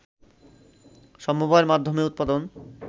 সমবায়ের মাধ্যমে উৎপাদন